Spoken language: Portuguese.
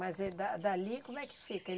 Mas é da dali como é que fica?